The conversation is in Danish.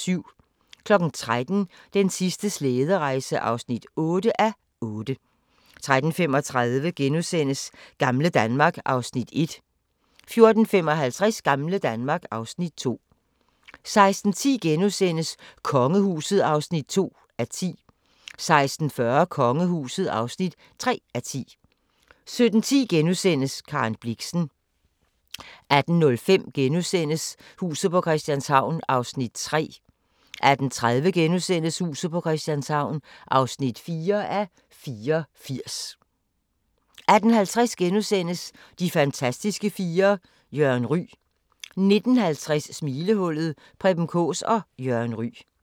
13:00: Den sidste slæderejse (8:8) 13:35: Gamle Danmark (Afs. 1)* 14:55: Gamle Danmark (Afs. 2) 16:10: Kongehuset (2:10)* 16:40: Kongehuset (3:10) 17:10: Karen Blixen * 18:05: Huset på Christianshavn (3:84)* 18:30: Huset på Christianshavn (4:84)* 18:50: De fantastiske fire: Jørgen Ryg * 19:50: Smilehullet – Preben Kaas og Jørgen Ryg